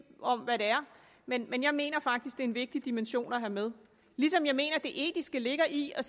om hvad det er men men jeg mener faktisk en vigtig dimension at have med ligesom jeg mener at det etiske ligger i at